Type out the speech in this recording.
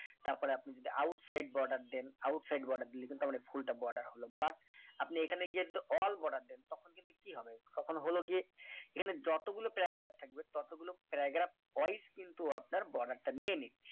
তারপর আপনি যদি out side border দেন out side border দিলে কিন্তু আমরা ফুলটা border হল but আপনি এখানে গিয়েদো all border দেন তখন কিন্তু কি হবে তখন হলো গিয়ে এখানে যতগুলো paragraph থাকবে ততগুলো paragraphwise কিন্তু আপনার border টা নিয়ে নিচ্ছে